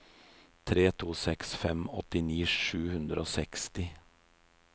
tre to seks fem åttini sju hundre og seksti